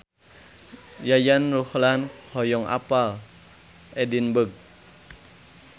Yayan Ruhlan hoyong apal Edinburg